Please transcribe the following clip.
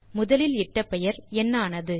முதலில் இட்ட பெயர் என்ன ஆனது